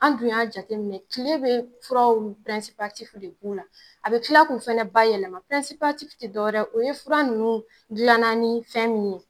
An dun y'a jate minɛ kile be furaw pirɛnsipatifu de k'u la a be kila kun fɛnɛ ba yɛlɛma pirɛnsipatifu te dɔwɛrɛ o ye fura nunnu gilanna ni fɛn min ye